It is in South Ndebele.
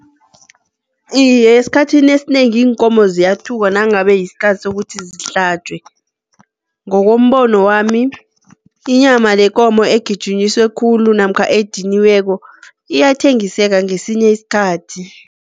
Iye, esikhathini esinengi iinkomo ziyathukwa nangabe yisikhathi sokuthi zihlatjwe. Ngokombono wami inyama yekomo egijinyisiwe khulu namkha ediniweko iyathengiseka ngesinye isikhathi.